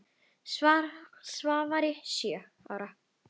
Svavari sjö ára.